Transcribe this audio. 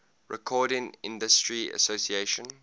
recording industry association